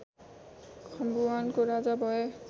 खम्बुवानको राजा भए